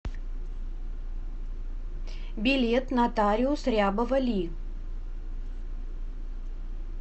билет нотариус рябова ли